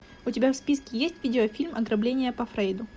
у тебя в списке есть видеофильм ограбление по фрейду